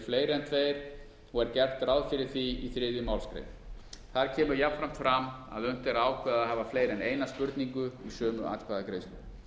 fleiri en tveir og er gert ráð fyrir því í þriðju málsgrein þar kemur jafnframt fram að unnt er að ákveða að hafa fleiri en eina spurningu í sömu atkvæðagreiðslu